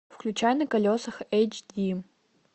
включай на колесах эйч ди